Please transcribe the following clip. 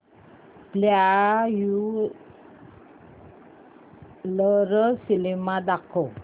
popular cinema दाखव